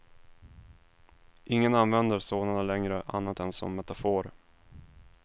Ingen använder sådana längre, annat än som metafor.